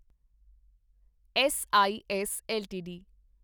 S I S LTD